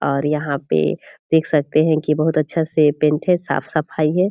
और यहाँ पे देख सकते हैं की बहुत अच्छा से पेंट हैं साफ-सफाई हैं ।